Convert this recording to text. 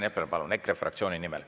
Rain Epler, palun, EKRE fraktsiooni nimel.